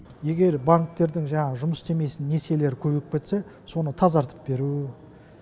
егер банктердің жаңағы жұмыс істемесін несиелері көбейіп кетсе соны тазартып беру